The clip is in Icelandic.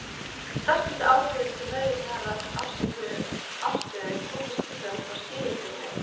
Sterkustu áhrifin til meðvitaðrar afstöðu komu síðan frá Sigurbirni